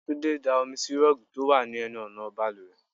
Túndé da omi sì rọ́ọ̀gì tó wà ní ẹnu ọ̀nà bàlùwẹ̀.